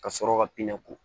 Ka sɔrɔ ka pinɛ k